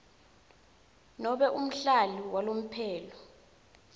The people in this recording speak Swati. nobe umhlali walomphelo